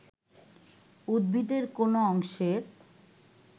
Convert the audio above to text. উদ্ভিদের কোন অংশের